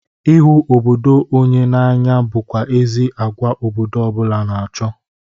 Ịhụ obodo onye na-anya bụkwa ezi agwa obodo ọ bụla na-achọ.